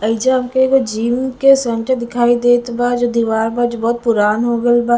एइजा हमके जीव के दिखाई देत बा जे बहुत पुरान हो गइल बा--